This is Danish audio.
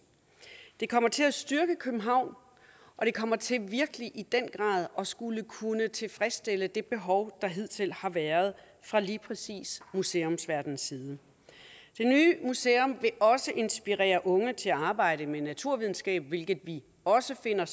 det kommer til at styrke københavn og det kommer til virkelig i den grad at skulle kunne tilfredsstille det behov der hidtil har været fra lige præcis museumsverdenens side det nye museum vil inspirere unge til at arbejde med naturvidenskab hvilket vi også finder